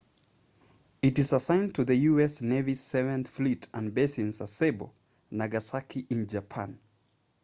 it is assigned to the u.s. navy's seventh fleet and based in sasebo nagasaki in japan